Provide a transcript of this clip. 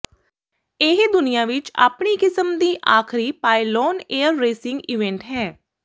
ਇਹ ਦੁਨੀਆ ਵਿਚ ਆਪਣੀ ਕਿਸਮ ਦੀ ਆਖਰੀ ਪਾਇਲੋਨ ਏਅਰ ਰੇਸਿੰਗ ਇਵੈਂਟ ਹੈ